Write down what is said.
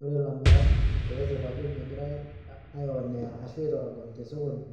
Ore ilamirak peesip ajo megirae ae onea ashu aetorogony te sokoni